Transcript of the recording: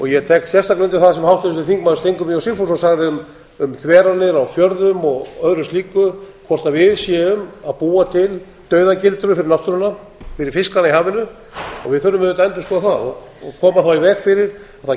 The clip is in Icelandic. ég tek sérstaklega undir það sem háttvirtur þingmaður steingrímur j sigfússon sagði um þveranir á fjörðum og öðru slíku hvort við séum að búa til dauðagildru fyrir náttúruna fyrir fiskana í hafinu við þurfum bara að endurskoða það og koma í veg fyrir að það